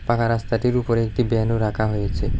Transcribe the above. পাকা রাস্তাটির উপরে একটি ব্যান ও রাখা হয়েছে।